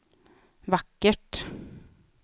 vackert